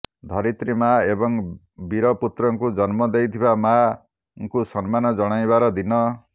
ଧରିତ୍ରୀ ମା ଏବଂ ବୀରପୁତ୍ରଙ୍କୁ ଜନ୍ମ ଦେଇଥିବା ମା ଙ୍କୁ ସମ୍ମାନ ଜଣାଇବାର ଦିନ